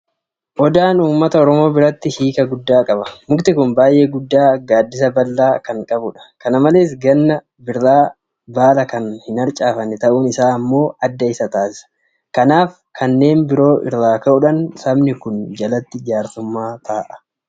Odaan Uummata Oromoo biratti hiika guddaa qaba. Mukti kun baay'ee guddaa gaaddisa bal'aa qabudha. Kana malees gannaa bina baala kan hin arcaafanne ta'uun isaa immoo adda isa taasisa. Kanaafi kanneen biroo irraa ka'uudhaan Sabni kun jalatti jaarsummaa taa'a.